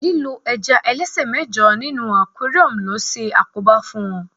lílo ẹja ẹlẹsẹ mẹjọ ní inú aquarium lo se àkóbá fún wón